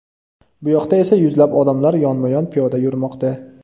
Buyoqda esa yuzlab odamlar yonma-yon piyoda yurmoqda.